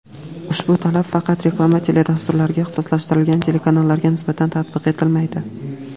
Ushbu talab faqat reklama teledasturlariga ixtisoslashtirilgan telekanallarga nisbatan tatbiq etilmaydi.